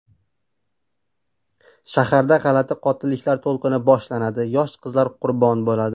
Shaharda g‘alati qotilliklar to‘lqini boshlanadi, yosh qizlar qurbon bo‘ladi.